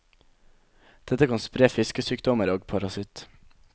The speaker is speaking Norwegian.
Dette kan spre fiskesykdommer og parasitt.